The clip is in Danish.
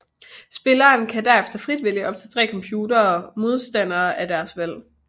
Spilleren kan derefter frit vælge op til tre computer modstandere af deres valg